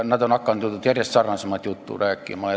Nad on hakanud järjest sarnasemat juttu rääkima.